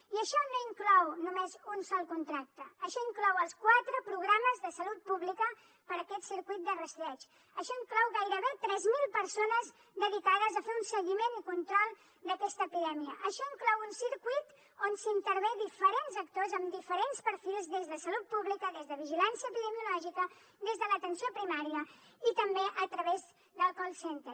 i això no inclou només un sol contracte això inclou els quatre programes de salut pública per aquest circuit de rastreig això inclou gairebé tres mil persones dedicades a fer un seguiment i control d’aquesta epidèmia això inclou un circuit on intervenen diferents actors amb diferents perfils des de salut pública des de vigilància epidemiològica des de l’atenció primària i també a través del call center